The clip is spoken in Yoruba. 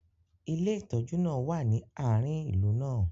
ilé ìtójú náà wa ni aarin ìlú náà